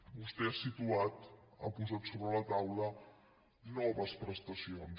vostè ha situat ha posat sobre la taula noves prestacions